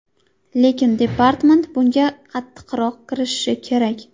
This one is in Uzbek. Lekin departament bunga qattiqroq kirishishi kerak.